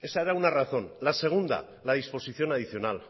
esa era una razón la segunda la disposición adicional